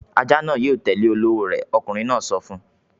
"Ajá náà yóò tẹ́lẹ̀ olówó rẹ̀!" Ọkùnrin náà sọ fún un.